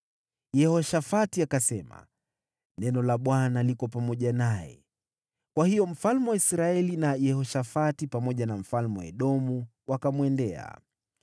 Yehoshafati akasema, “Neno la Bwana liko pamoja naye.” Kwa hiyo mfalme wa Israeli na Yehoshafati pamoja na mfalme wa Edomu wakamwendea.